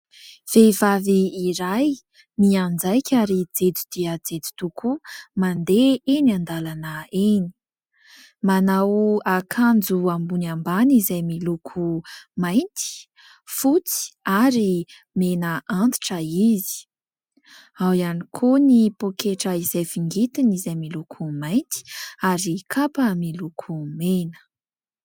Vehivavy iray mianjaika ary jejo dia jejo tokoa mandeha eny an-dalana eny. Manao akanjo ambony ambany izay miloko mainty fotsy ary mena antitra izy. Ao ihany koa ny poketra izay vingitiny izay miloko mainty ary kapa miloko mena.